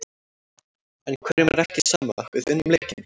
En hverjum er ekki sama, við unnum leikinn.